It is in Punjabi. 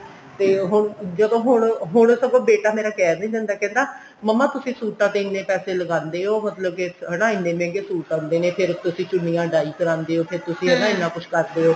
ਤੇ ਉਹ ਜਦੋਂ ਹੁਣ ਹੁਣ ਸਗੋਂ ਬੇਟਾ ਮੇਰਾ ਕਹਿ ਵੀ ਦਿੰਦਾ ਕਹਿੰਦਾ ਮੰਮਾ ਤੁਸੀਂ ਸੂਟਾਂ ਤੇ ਇੰਨੇ ਪੈਸੇ ਲਗਾਂਦੇ ਹੋ ਮਤਲਬ ਕੇ ਹਨਾ ਇੰਨੇ ਮਹਿੰਗੇ ਮਹਿੰਗੇ suit ਆਂਦੇ ਨੇ ਫੇਰ ਤੁਸੀਂ ਚੁੰਨੀਆ dye ਕਰਵਾਉਂਦੇ ਓ ਫੇਰ ਤੁਸੀਂ ਉਹਦਾ ਇੰਨਾ ਕੁੱਛ ਕਰਦੇ ਓ